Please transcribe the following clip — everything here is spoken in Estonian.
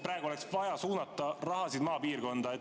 Praegu oleks vaja suunata raha maapiirkonda.